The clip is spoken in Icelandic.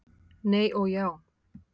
Nei og já!